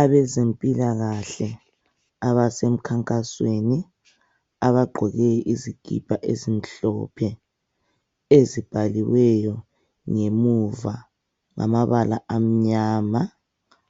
Abezempilakahle abasemkhankasweni abagqoke izikipa ezimhlophe ezibhaliweyo ngemuva ngamabala amnyama